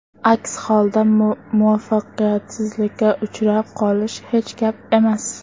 Aks holda muvaffaqiyatsizlikka uchrab qolish hech gap emas.